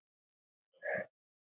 En Sóla var ekki þar.